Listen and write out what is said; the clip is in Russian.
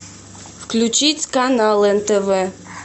включить канал нтв